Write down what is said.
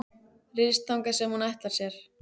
Ryðst þangað sem hún ætlar sér.